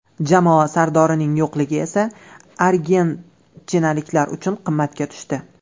Jamoa sardorining yo‘qligi esa argentinaliklar uchun qimmatga tushdi.